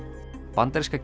bandaríska